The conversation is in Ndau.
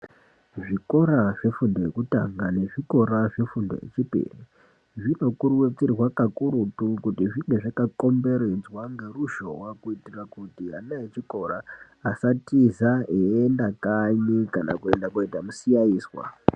Zvikora zvefundo yekutanga nezvikora zvefundo yechipiri zvinokurudzirwa kakurutu kuti zvinge zvakakomberedzwa ngeruzhowa kuitira kuti ana echikora asatiza eienda kanyi kana kuenda koita musikanzwa.